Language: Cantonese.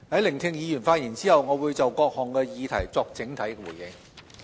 聆聽議員發言後，我會就各項議題作整體回應。